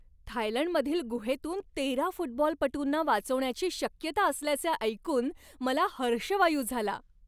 थायलंडमधील गुहेतून तेरा फुटबॉलपटूंना वाचवण्याची शक्यता असल्याचे ऐकून मला हर्षवायू झाला.